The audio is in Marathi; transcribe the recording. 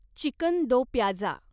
चिकन दोप्याजा